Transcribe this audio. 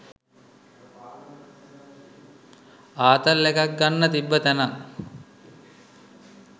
ආතල් එකක් ගන්න තිබ්බ තැනක්